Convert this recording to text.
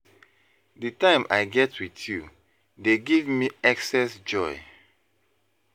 Di time i get with you dey give me excess joy.